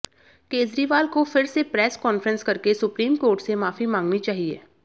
केजरीवाल को फिर से प्रेस कॉन्फ्रेंस करके सुप्रीम कोर्ट से माफी मांगनी चाहिए